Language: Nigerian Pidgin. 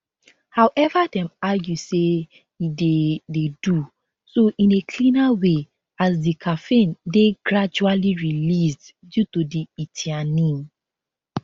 however dem argue say e dey dey do so in a cleaner way as di caffeine dey gradually released due to di ltheanine